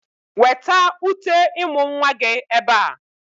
Weta uté ịmụ̀ nwa gị ebe a!